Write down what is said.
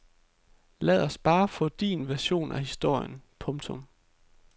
Lad os bare få din version af historien. punktum